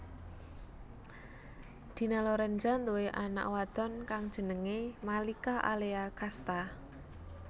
Dina Lorenza nduwé anak wadon kang jenengé Malika Alea Casta